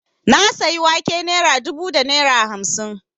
Na sayi wake naira dubu da naira hamsin